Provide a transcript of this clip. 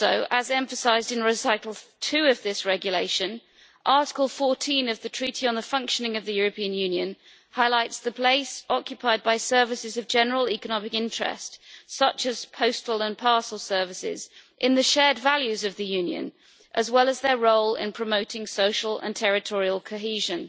As emphasised in recital 2 of this regulation, Article 14 of the Treaty on the Functioning of the European Union highlights the place occupied by services of general economic interest, such as postal and parcel services, in the shared values of the Union, as well as their role in promoting social and territorial cohesion.